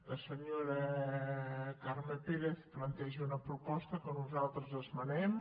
la senyora carme pérez planteja una proposta que nosaltres esmenem